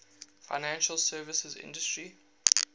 financial services industry